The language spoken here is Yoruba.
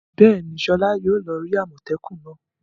Bẹ́ẹ̀ni, Sola yóò lọ rí àmọ́tẹ́kùn náà.